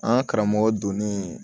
An karamɔgɔ donnin